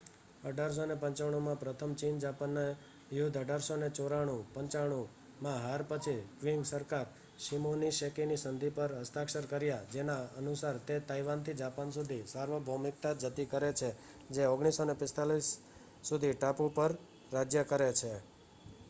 1895માં પ્રથમ ચીન-જાપાનના યુદ્ધ 1894-1895માં હાર પછી ક્વિંગ સરકાર શિમોનોસેકીની સંધિ પર હસ્તાક્ષર કરે છે જેના અનુસાર તે તાઇવાનથી જાપાન સુધી સાર્વભૌમિકતા જતી કરે છે જે 1945 સુધી ટાપુ પર રાજ્ય કરે છે